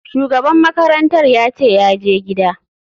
Shugaban makarantar yace yaje gida.